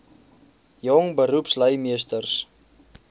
jong beroepslui meesters